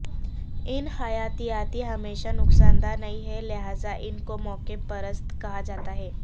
ان حیاتیات ہمیشہ نقصان دہ نہیں ہیں لہذا ان کو موقع پرست کہا جاتا ہے